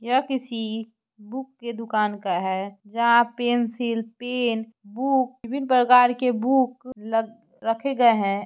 यह किसी बुक के दुकान का है जहाँ पेन्सिल पेन बुक विभिन्न प्रकार के बुक रखे गये हैं।